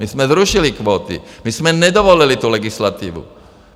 My jsme zrušili kvóty, my jsme nedovolili tu legislativu.